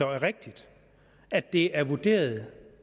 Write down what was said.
rigtigt at det er vurderet